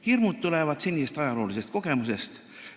Hirmud tulevad senisest ajaloolisest kogemusest.